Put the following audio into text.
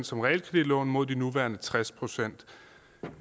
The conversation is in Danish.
som realkreditlån mod de nuværende tres procent